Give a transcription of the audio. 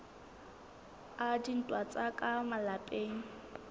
a dintwa tsa ka malapeng